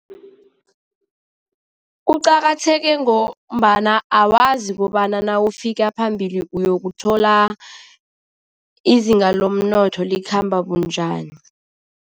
Kuqakatheke ngombana awazi kobana nawufika phambili uyokuthola izinga lomnotho likhamba bunjani.